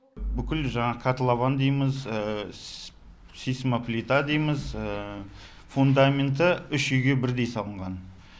бүкіл жаңағы котлован дейміз сейсмоплита дейміз фундаменті үш үйге бірдей салынған